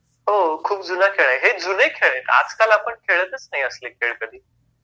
हो खूप जुना खेळ आहे, हे जुने खेळ आहेत. आजकाल आपण खेळतच नाही असले खेळ कधी.